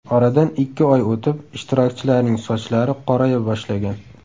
Oradan ikki oy o‘tib ishtirokchilarning sochlari qoraya boshlagan.